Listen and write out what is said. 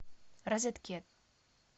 розеткед